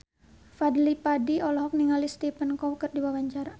Fadly Padi olohok ningali Stephen Chow keur diwawancara